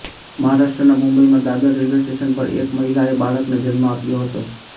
મહારાષ્ટ્રનાં મુંબઈમાં Dadar railway station પર એક મહિલાએ બાળકને જન્મ આપ્યો હતો